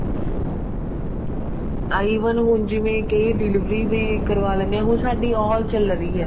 even ਹੁਣ ਜਿਵੇਂ ਕਈ delivery ਵੀ ਕਰਵਾ ਲੈਂਦੇ ਨੇ ਹੁਣ ਸਾਡੀ all ਚੱਲ ਰਹੀ ਹੈ